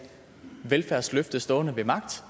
velfærdsløfte stående ved magt